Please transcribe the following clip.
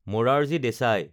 Morarji Desai